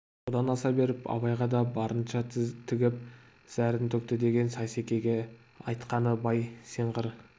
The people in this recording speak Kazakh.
одан аса беріп абайға да барынша тігіп зәрін төкті деген сейсекеге айтқаны бай сен қыр